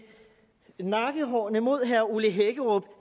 nakkehårene mod herre ole hækkerup